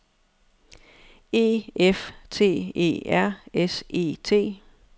E F T E R S E T